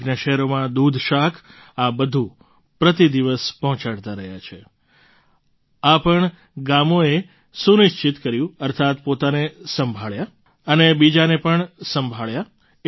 નજીકના શહેરોમાં દૂધશાક આ બધું પ્રતિ દિવસ પહોંચાડતા રહ્યા આ પણ ગામોએ સુનિશ્ચિત કર્યું અર્થાત્ પોતાને સંભાળ્યા અને બીજાને પણ સંભાળ્યા